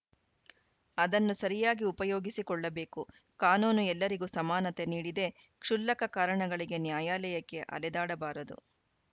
ಅದನ್ನು ಸರಿಯಾಗಿ ಉಪಯೋಗಿಸಿಕೊಳ್ಳಬೇಕು ಕಾನೂನು ಎಲ್ಲರಿಗೂ ಸಮಾನತೆ ನೀಡಿದೆ ಕ್ಷುಲ್ಲಕ ಕಾರಣಗಳಿಗೆ ನ್ಯಾಯಾಲಯಕ್ಕೆ ಅಲೆದಾಡಬಾರದು